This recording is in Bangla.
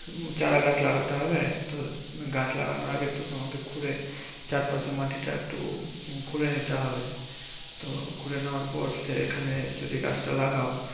চারাগাছ লাগাতে হবে। তো গাছ লাগানোর আগে তো তোমাকে খুঁড়ে চারপাশে মাটিটা একটু উম খুঁড়ে নিতে হবে। তো খুঁড়ে নেওয়ার পর এখানে যদি গাছটা লাগাও